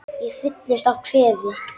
Ég fyllist af kvefi.